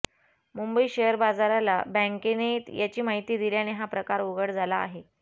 Mumbai share बाजाराला बँकेने याची माहिती दिल्याने हा प्रकार उघड झाला आहे